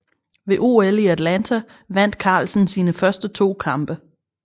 Ved OL i Atlanta vandt Carlsen sine første to kampe